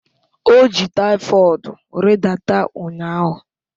O ji typhoid ridata ụnyaahụ